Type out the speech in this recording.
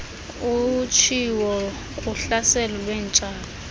utshiwo kuhlaselo lweentshaba